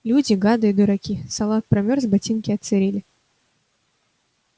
люди гады и дураки салат промёрз ботинки отсырели